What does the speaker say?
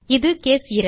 இது கேஸ் 2